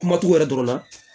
Kuma t'u yɛrɛ dɔrɔn na